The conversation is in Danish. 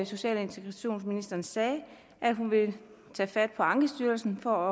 social og integrationsministeren sagde at hun vil tage fat på ankestyrelsen for